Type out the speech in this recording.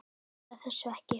Svarar þessu ekki.